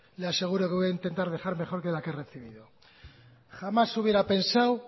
le aseguro que voy a intentar dejar mejor que la que he recibido jamás hubiera pensado